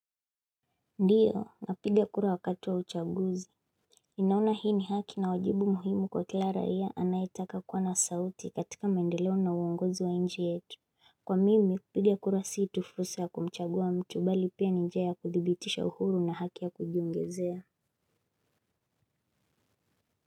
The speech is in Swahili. Ndiyo napiga kura wakati wa uchaguzi ninaona hii ni haki na wajibu muhimu kwa kila raia anaitaka kuwa na sauti katika maendeleo na uongozi wa nchi yetu kwa mimi kupiga kura si tu fursa ya kumchagua mtu bali pia njia ya kuthibitisha uhuru na haki ya kujiongezea.